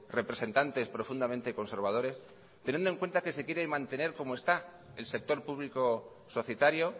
representantes profundamente conservadores teniendo en cuenta que se quiere mantener como está el sector público societario